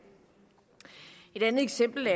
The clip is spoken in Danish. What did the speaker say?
et andet eksempel